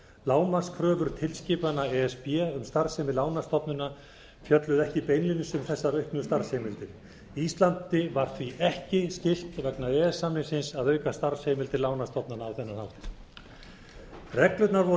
lágmarkskröfur tilskipana e s b um starfsemi lánastofnana fjölluðu ekki beinlínis um þessar auknu starfsheimildir íslandi var því ekki skylt vegna e e s samningsins að auka starfsemi til lánastofnana á þennan hátt reglurnar voru